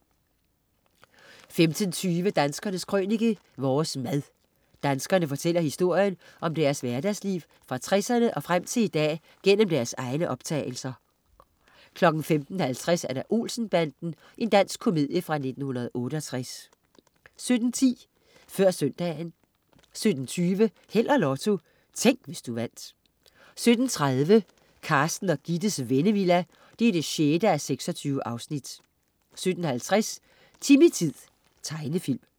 15.20 Danskernes Krønike. Vores mad. Danskerne fortæller historien om deres hverdagsliv fra 60'erne og frem til i dag gennem deres egne optagelser. 15.50 Olsen-banden. Dansk komedie fra 1968 17.10 Før søndagen 17.20 Held og Lotto. Tænk, hvis du vandt 17.30 Carsten og Gittes Vennevilla 6:26 17.50 Timmy-tid. Tegenfilm